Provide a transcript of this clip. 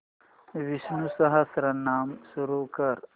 विष्णु सहस्त्रनाम सुरू कर